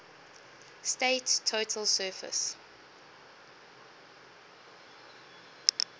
state's total surface